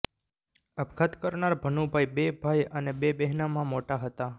આપઘાત કરનાર ભનુભાઇ બે ભાઇ અને બે બહેનમાં મોટા હતાં